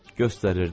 Göstərirdi.